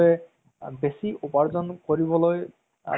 TV ৰ serial কেইটা সেই কেইটা বহুত ভাল লাগে